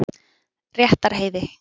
Réttarheiði